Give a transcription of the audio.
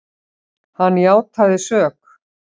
Hann játaði sök.